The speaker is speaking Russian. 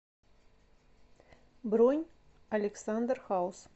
бронь александр хаус